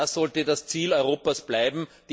Das sollte das Ziel Europas bleiben!